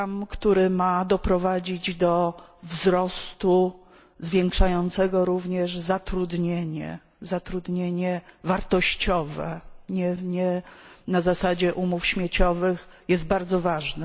który ma doprowadzić do wzrostu zwiększającego również zatrudnienie zatrudnienie wartościowe, nie na zasadzie umów śmieciowych są bardzo ważne.